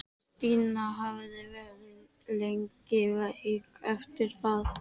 Stína hafði verið lengi veik eftir það.